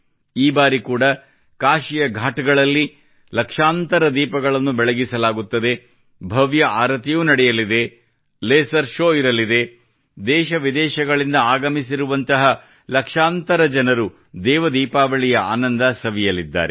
ಈ ಬಾರಿ ಕೂಡಾ ಕಾಶಿಯ ಘಾಟ್ ಗಳಲ್ಲಿ ಲಕ್ಷಾಂತರ ದೀಪಗಳನ್ನು ಬೆಳಗಿಸಲಾಗುತ್ತದೆ ಭವ್ಯ ಆರತಿಯೂ ನಡೆಯಲಿದೆ ಲೇಸರ್ ಶೋವ್ ಇರಲಿದೆ ದೇಶ ವಿದೇಶಗಳಿಂದ ಆಗಮಿಸಿರುವಂತರಹ ಲಕ್ಷಾಂತರ ಜನರು ದೇವ ದೀಪಾವಳಿ ಆನಂದ ಸವಿಯಲಿದ್ದಾರೆ